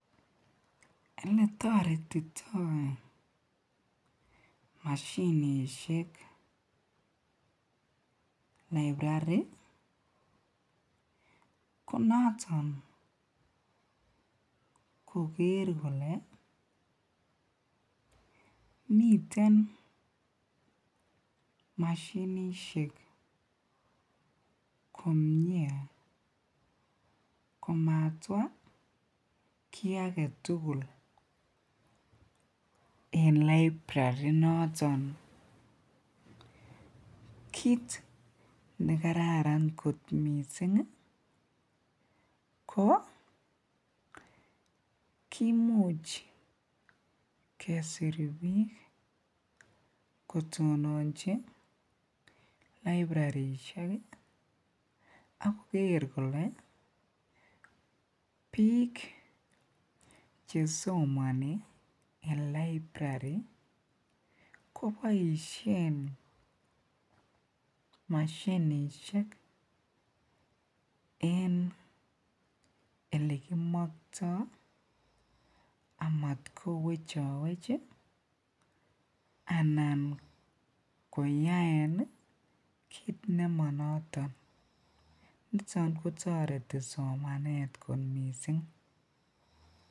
Eletoretitoi mashinishek librari ko noton koker kolee miten mashinishek komnye komatwa kii aketukul en librari inoton kiit nekararan kot mising ko kimuch kesir biik kotononchi librarishek ak koker kolee biik chesomoni en librari koboishen mashinishek en elekimokto amat kowechowech anan koyaen kiit nemo noton, niton kotoreti somanet kot mising.